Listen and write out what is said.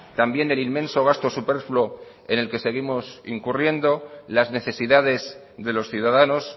también del inmenso gasto superfluo en el que seguimos incurriendo y las necesidades de los ciudadanos